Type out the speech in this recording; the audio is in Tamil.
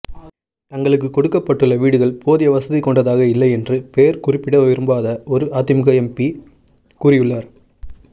தங்களுக்கு கொடுக்கப்பட்டுள்ள வீடுகள் போதிய வசதி கொண்டதாக இல்லை என்று பெயர் குறிப்பிட விரும்பாத ஒரு அதிமுக எம்பி கூறியுள்ளார்